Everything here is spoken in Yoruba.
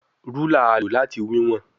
Rúlà a lo lati wiwọn